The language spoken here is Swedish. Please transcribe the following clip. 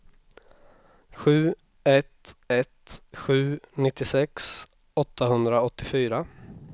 sju ett ett sju nittiosex åttahundraåttiofyra